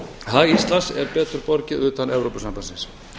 hag íslands er betur borgið utan evrópusambandsins